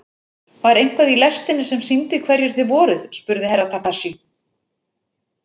Var eitthvað í lestinni sem sýndi hverjir þið voruð spurði Herra Takashi.